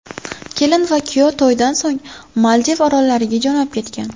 Kelin va kuyov to‘ydan so‘ng Maldiv orollariga jo‘nab ketgan.